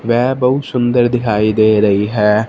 वह बहुत सुंदर दिखाई दे रही है।